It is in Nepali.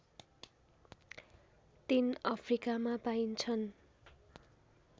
तीन अफ्रिकामा पाइन्छन्